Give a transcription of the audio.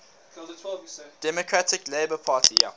democratic labour party